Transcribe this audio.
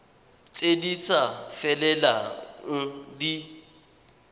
tse di sa felelang di